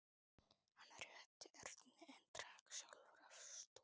Hann rétti Erni en drakk sjálfur af stút.